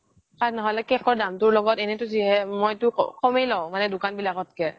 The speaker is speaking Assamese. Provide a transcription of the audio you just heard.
তাক নহলে কেকৰ দামটো লগত এনেইটো মই কামেই লৈ দোকান বিলাকত কৈ